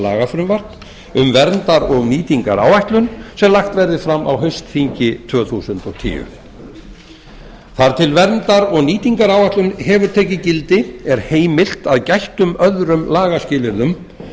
lagafrumvarp um verndar og nýtingaráætlun sem lagt verði fram á haustþingi tvö þúsund og tíu þar til verndar og nýtingaráætlun hefur tekið gildi er heimilt að gættum öðrum lagaskilyrðum